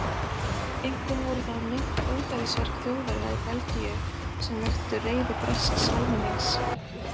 Einkum voru það meint ódæðisverk Þjóðverja í Belgíu sem vöktu reiði bresks almennings.